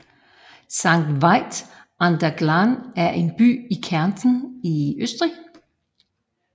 Sankt Veit an der Glan er en by i Kärnten i Østrig